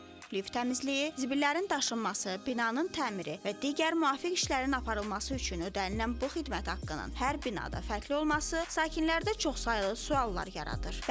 Lift təmizliyi, zibillərin daşınması, binanın təmiri və digər müvafiq işlərin aparılması üçün ödənilən bu xidmət haqqının hər binada fərqli olması sakinlərdə çoxsaylı suallar yaradır.